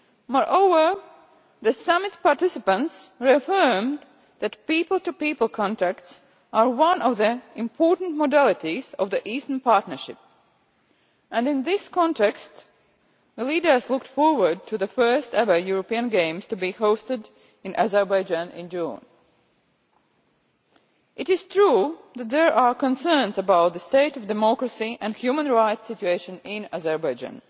Moreover, the summit's participants reaffirmed that people to people contacts are one of the important modalities of the Eastern Partnership and, in this context, the leaders looked forward to the first ever European Games to be hosted in Azerbaijan in June. It is true that there are concerns about the state of democracy and the human rights situation in Azerbaijan.